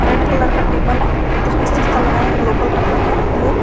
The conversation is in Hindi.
रेड कलर का टेबल है उसपे शिशॉ लगाया हुआ है ग्लोबल रखा गया है ग्लोब--